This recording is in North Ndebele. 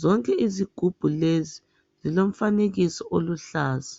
Zonke izigubhu lezi zilomfanekiso oluhlaza.